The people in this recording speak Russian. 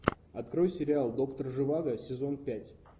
открой сериал доктор живаго сезон пять